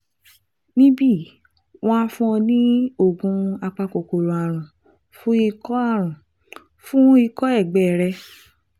Níbí yìí, wọ́n á fún ọ ní oògùn apakòkòrò ààrùn fún ikọ́ ààrùn fún ikọ́ ẹ̀gbẹ rẹ